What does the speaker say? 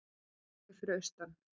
Hálkublettir fyrir austan